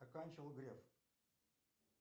оканчивал греф